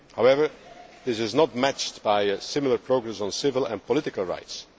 downturn. However, this is not matched by similar progress on civil and political